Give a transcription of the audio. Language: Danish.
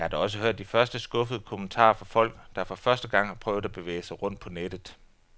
Jeg har da også hørt de første skuffede kommentarer fra folk, der for første gang har prøvet at bevæge sig rundt på nettet.